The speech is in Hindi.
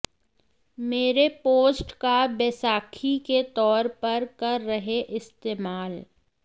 मेरे पोस्ट का बैसाखी के तौर पर कर रहे इस्तेमाल